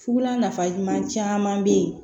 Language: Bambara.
Fugula nafa ɲuman caman bɛ ye